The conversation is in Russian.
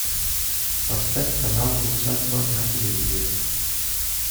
поставь канал усадьба на телевизоре